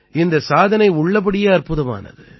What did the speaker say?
இந்தச் சாதனை உள்ளபடியே அற்புதமானது